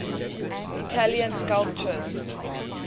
italian sculptors